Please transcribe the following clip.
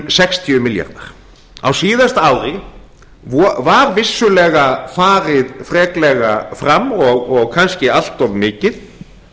sextíu milljarðar á síðasta ári var vissulega farið freklega fram og kannski allt of mikið